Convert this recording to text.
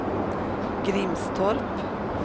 Grimstorp